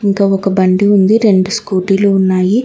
ఇంకా ఒక బండి ఉంది రెండు స్కూటీలు ఉన్నాయి.